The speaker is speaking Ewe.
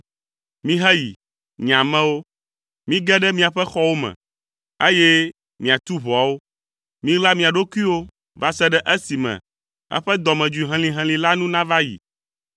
Miheyi, nye amewo. Mige ɖe miaƒe xɔwo me, eye miatu ʋɔawo. Miɣla mia ɖokuiwo va se ɖe esime eƒe dɔmedzoe helĩhelĩ la nu nava yi.